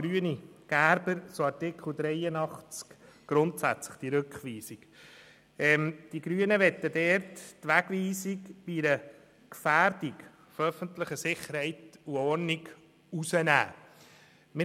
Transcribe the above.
Gerber/Grüne: Die Grünen möchten die Wegweisung bei einer Gefährdung der öffentlichen Sicherheit und Ordnung rausnehmen.